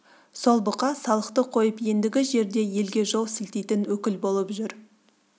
сол бұқа салықты қойып ендігі жерде елге жол сілтейтін өкіл болып жүр